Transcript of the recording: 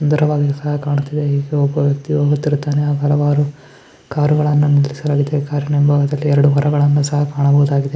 ಸುಂದರವಾಗಿ ಕಾಣಿಸುತ್ತದೆ . ಇಲ್ಲಿ ಒಬ್ಬ ವ್ಯಕ್ತಿ ಹೋಗುತ್ತಿರುತ್ತಾನೆ ಇಲ್ಲಿ ಹಲವಾರು ಕಾರುಗಳನ್ನು ನಿಲ್ಲಿಸಲಾಗಿದೆ ಕಾರಿನ ಹಿಂಭಾಗದಲ್ಲಿ ಎರಡು ಮರಗಳನ್ನು ಸಹ ಕಾಣಬಹುದು.